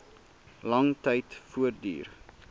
lang tyd voortduur